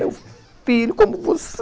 ''Meu filho, como você!''